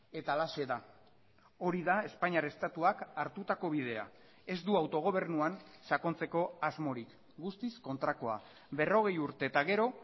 eta halaxe da hori da espainiar estatuak hartutako bidea ez du autogobernuan sakontzeko asmorik guztiz kontrakoa berrogei urte eta gero